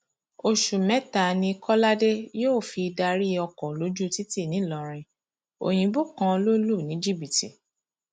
oṣù mẹta ni kọládé yóò fi darí ọkọ lójú títì nìlọrin òyìnbó kan lọ lù ní jìbìtì